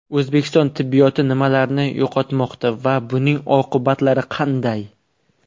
O‘zbekiston tibbiyoti nimalarni yo‘qotmoqda va buning oqibatlari qanday?